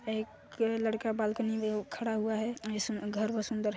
एक लड़का बालकनी में खड़ा हुआ है घर बहुत सुन्दर है|